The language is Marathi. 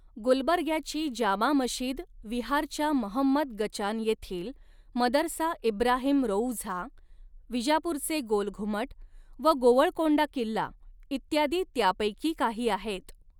गुलबर्ग्याची जामा मशिद विहारच्या महमंद गचान येथील मदरसा इब्राहिम रौअझा विजापूरचे गोल घुमट व गोवळकोंडा किल्ला इत्यादी त्यापैकी काही आहेत.